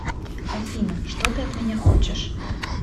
афина что ты от меня хочешь